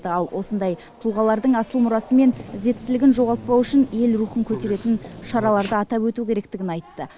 ал осындай тұлғалардың асыл мұрасы мен ізеттілігін жоғалтпау үшін ел рухын көтеретін шараларды атап өту керектігін айтты